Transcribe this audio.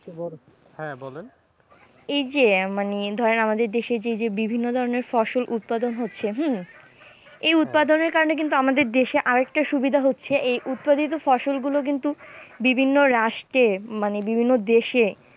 এই যে মানে ধরেন আমাদের দেশে যে যে বিভিন্ন ধরণের ফসল উৎপাদন হচ্ছে হম এই উৎপাদনের কারণে কিন্তু আমাদের দেশে আর একটা সুবিধা হচ্ছে এই উৎপাদিত ফসল গুলো কিন্তু বিভিন্ন রাষ্ট্রে মানে বিভিন্ন দেশে